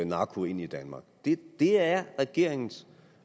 narko ind i danmark det er regeringens